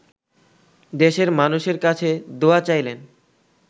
দেশের মানুষের কাছে দোয়া চাইলেন